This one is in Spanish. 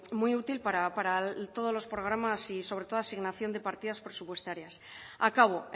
muy útil para todos los programas y sobre todo asignación de partidas presupuestarias acabo